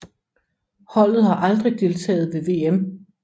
Holdet har aldrig deltaget ved VM